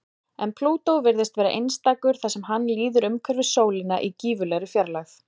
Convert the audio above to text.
En Plútó virðist vera einstakur þar sem hann líður umhverfis sólina í gífurlegri fjarlægð.